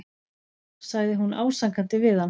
sagði hún ásakandi við hann.